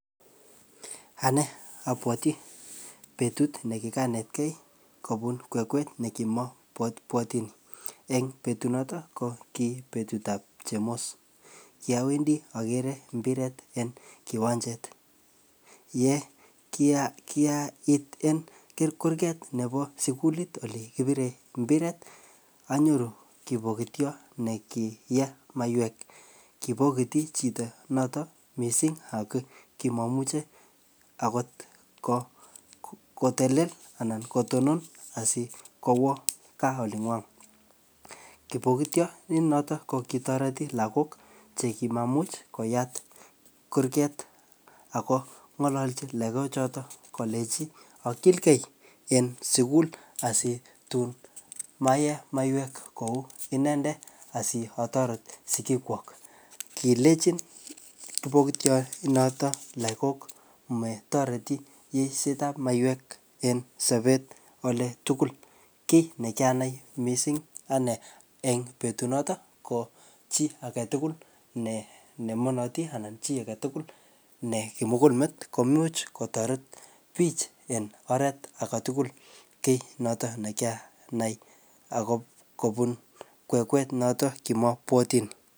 anee obwoti betut negiganetgee kobuu kwekwe negimobwotin, en betut noton ko ki betut ab chemos kyowendee ogere mpireet en kiwanjet ye kyaa iit kurgeet nebo sugul iih elegigibire mpiret onyoru kipogityoot negiyee maiyweek kipogiti chito noton mising ak kimomuche ogot kotelel anan kotonon asigowoo kaa olingwoon, kipogityo noton kogitorti lagook chegimamuch koyaat kurgeet ago ngolochi lagook choton kolenchi ogilgei en sugul asitum komeyee miyeek kouu inendet asiotoret sigiik kwook, kilechin kipogityoot noton lagook motoreti yeisyeet ab maiyweek en sobeet oletugul, kkiy negianai mising en betuut noton ko chi agetugul nemonoti anan chi agetul ne kimuguul meet komuch kotoret biich en oreet agetugul kiit noto ne kiyaanai ago kobuun kwekwet noton kimobwotiin